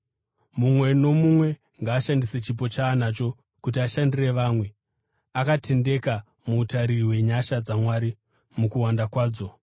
Mumwe nomumwe ngaashandise chipo chaanacho kuti ashandire vamwe, akatendeka muutariri hwenyasha dzaMwari mukuwanda kwadzo.